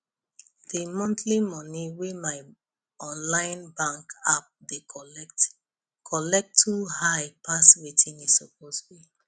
the monthly money wey my online bank app dey collect collect too high pass wetin e suppose be